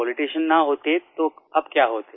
politician न होते तो आप क्या होते